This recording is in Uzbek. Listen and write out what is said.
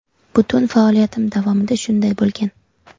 Butun faoliyatim davomida shunday bo‘lgan.